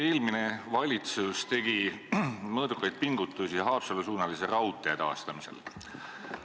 Eelmine valitsus tegi mõõdukaid pingutusi Haapsalu-suunalise raudtee taastamiseks.